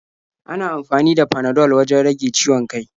Ana amfani da Panadol wajen rage ciwon kai.